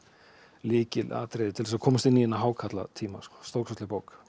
lykilatriði til að komast inn í þennan hákarlatíma stórkostleg bók